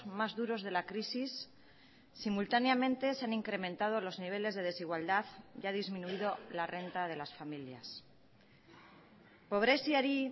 más duros de la crisis simultáneamente se han incrementado los niveles de desigualdad y ha disminuido la renta de las familias pobreziari